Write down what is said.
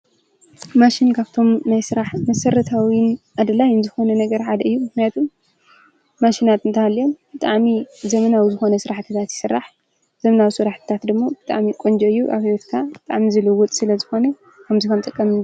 ማሽን ካብቶም ናይ ስራሕ መሰረታውን ኣድላይን ዝኮነ ነገር ሓደ እዩ:: ምክንያቱም ማሽናት እንተሃልየን ብጣዕሚ ዘበናዊ ዝኮነ ስራሕትታት ይስራሕ። ዘበናዊ ስራሕቲታት ደሞ ብጣዕሚ ቆንጆ እዩ:: ኣብ ሂወትካ ብጣዕሚ ዝልውጥ ስለ ዝኮነ ክምዚ ክንጥቀም ::